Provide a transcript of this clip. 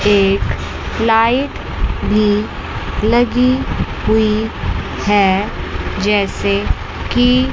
एक लाइट भी लगी हुई है जैसे की--